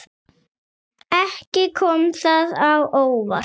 Ekki kom það á óvart.